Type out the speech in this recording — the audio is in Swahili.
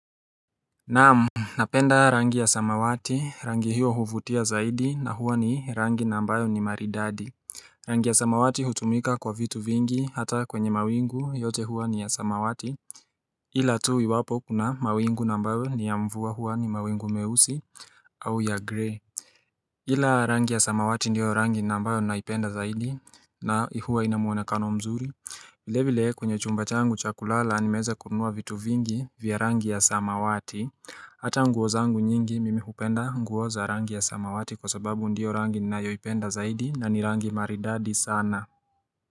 Naam Napenda rangi ya samawati rangi hiyo huvutia zaidi na huwa ni rangi na ambayo ni maridadi Rangi ya samawati hutumika kwa vitu vingi hata kwenye mawingu yote huwa ni ya samawati ila tu iwapo kuna mawingu nambayo ni ya mvua huwa ni mawingu meusi au ya grey ila rangi ya samawati ndiyo rangi na ambayo naipenda zaidi na huwa inamuonekano mzuri vile vile kwenye chumba changu cha kulala nimeweza kunua vitu vingi vya rangi ya samawati Hata nguo zangu nyingi mimi hupenda nguo za rangi ya samawati kwa sababu ndio rangi ninayoipenda zaidi na ni rangi maridadi sana.